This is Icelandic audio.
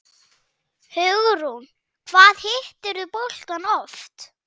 Hugrún: Hvað hittirðu boltann oft?